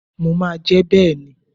Mo máa jẹ́ bẹ́ẹ̀ ni.